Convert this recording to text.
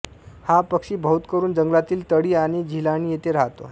हा पक्षी बहुतकरून जंगलातील तळी आणि झिलाणी येथे राहतो